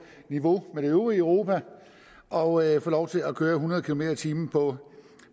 niveau med det øvrige europa og få lov til at køre hundrede kilometer per time på